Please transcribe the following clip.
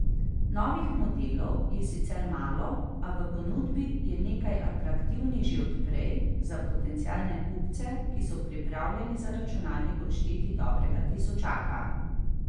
Novih modelov je sicer malo, a v ponudbi je nekaj atraktivnih že od prej, za potencialne kupce, ki so pripravljeni za računalnik odšteti dobrega tisočaka.